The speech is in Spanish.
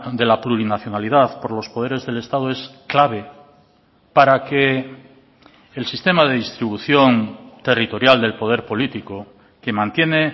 de la plurinacionalidad por los poderes del estado es clave para que el sistema de distribución territorial del poder político que mantiene